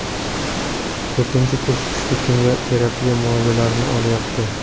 To‘rtinchi kurs kuchli kimyo terapiya muolajalarini olyapti.